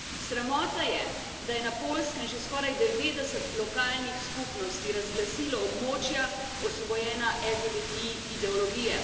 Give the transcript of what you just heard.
Sramota je, da je na Poljskem že skoraj 90 lokalnih skupnosti razglasilo območja, osvobojena LGBTI ideologije.